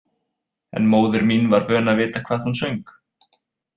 En móðir mín var vön að vita hvað hún söng.